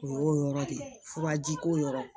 O y'o yɔrɔ de ye furaji ko yɔrɔ